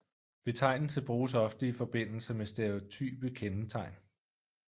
Betegnelse bruges ofte i forbindelse med stereotype kendetegn